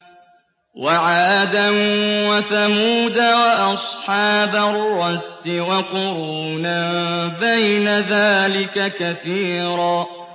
وَعَادًا وَثَمُودَ وَأَصْحَابَ الرَّسِّ وَقُرُونًا بَيْنَ ذَٰلِكَ كَثِيرًا